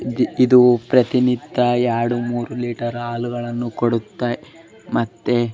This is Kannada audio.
ಇದು ಪ್ರತಿನಿತ್ಯ ಎರಡು ಮೂರೂ ಲೀಟರ್ ಹಾಲುಗಳನ್ನು ಕೊಡುತ್ತೆ ಮತ್ತೆ --